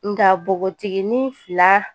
Nka nbogotikini fila